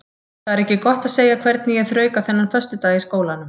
Það er ekki gott að segja hvernig ég þrauka þennan föstudag í skólanum.